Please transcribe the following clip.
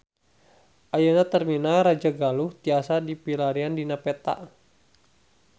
Ayeuna Terminal Rajagaluh tiasa dipilarian dina peta